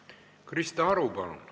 Krista Aru, palun!